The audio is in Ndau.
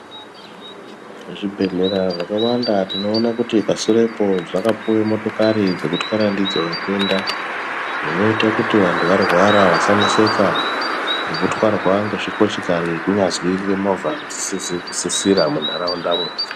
Zvibhedhlera zvakawanda tinoona kuti pasurepo zvakapuwe motokari dzeku kutwara ndidzo vatenda zvinoita kuti vanhu varwara vasaneseka ngekutwarwa ngezvikochikari kunyazwi ngemovha isizi kusizira munharaundamwo.